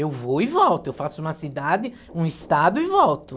Eu vou e volto, eu faço uma cidade, um estado e volto.